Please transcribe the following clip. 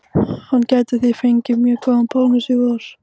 Hann gæti því fengið mjög góðan bónus í vor.